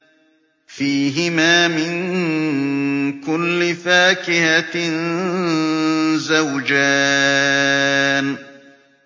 فِيهِمَا مِن كُلِّ فَاكِهَةٍ زَوْجَانِ